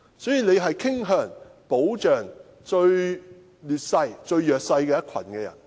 因此，大家也傾向保障處於最劣勢而又最弱勢的一群。